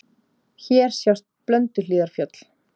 Hér sjást Blönduhlíðarfjöll.